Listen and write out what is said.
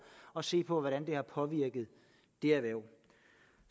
og se på hvordan det har påvirket det erhverv